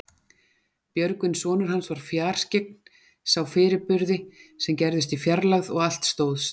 Björgvin sonur hans var fjarskyggn, sá fyrirburði sem gerðust í fjarlægð og allt stóðst.